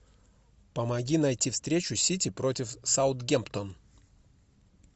помоги найти встречу сити против саутгемптон